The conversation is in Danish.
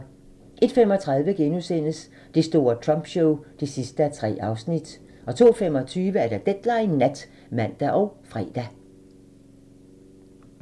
01:35: Det store Trump show (3:3)* 02:25: Deadline Nat (fre og man)